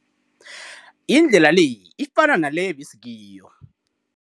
Indlela le ifana naleyo ebesikiyo.